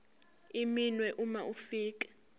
iminwe uma ufika